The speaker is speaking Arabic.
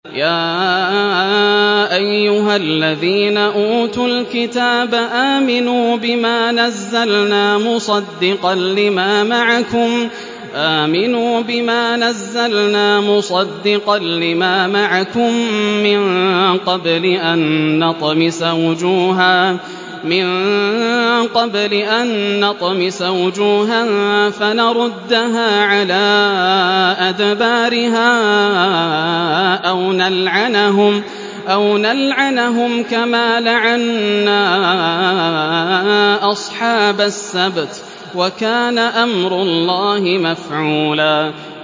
يَا أَيُّهَا الَّذِينَ أُوتُوا الْكِتَابَ آمِنُوا بِمَا نَزَّلْنَا مُصَدِّقًا لِّمَا مَعَكُم مِّن قَبْلِ أَن نَّطْمِسَ وُجُوهًا فَنَرُدَّهَا عَلَىٰ أَدْبَارِهَا أَوْ نَلْعَنَهُمْ كَمَا لَعَنَّا أَصْحَابَ السَّبْتِ ۚ وَكَانَ أَمْرُ اللَّهِ مَفْعُولًا